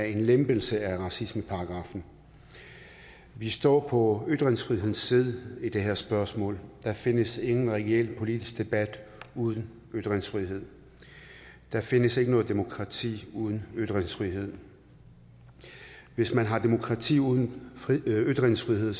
en lempelse af racismeparagraffen vi står på ytringsfrihedens side i det her spørgsmål der findes ingen reel politisk debat uden ytringsfrihed der findes ikke noget demokrati uden ytringsfrihed hvis man har demokrati uden ytringsfrihed